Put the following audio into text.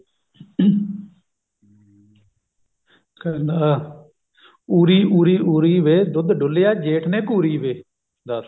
ਕਹਿੰਦਾ ਉਰੀ ਉਰੀ ਉਰੀ ਵੇ ਦੁੱਧ ਜੇਠ ਨੇ ਘੂਰੀ ਵੇ